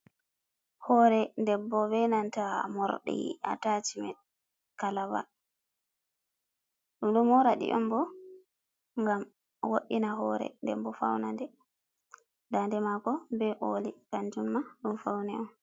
Hore debbo benanta mordi atachimen kalaba. Ɗumɗo moradi on bo gam wowina hore, ɗenbo faunaɗe. Ndade mako be olli kantumma ngam fauni on.